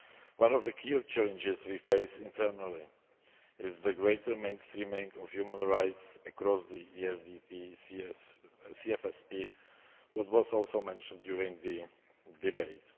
One of the key challenges we face internally is the greater mainstreaming of human rights across the ESDP and CFSP, which was also mentioned during the debate.